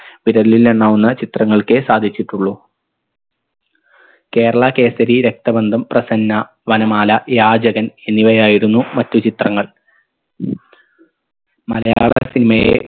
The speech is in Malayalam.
വിരലിലെണ്ണാവുന്ന ചിത്രങ്ങൾക്കേ സാധിച്ചിട്ടുള്ളു കേരള കേസരി രക്തബന്ധം പ്രസന്ന വനമാല യാചകൻ എന്നിവയായിരുന്നു മറ്റു ചിത്രങ്ങൾ മലയാള cinema യെ